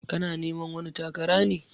Kana neman wani takara ne?